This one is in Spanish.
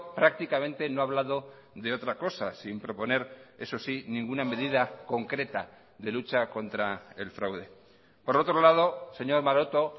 prácticamente no ha hablado de otra cosa sin proponer eso sí ninguna medida concreta de lucha contra el fraude por otro lado señor maroto